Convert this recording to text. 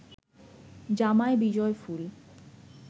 জামায় বিজয়ফুল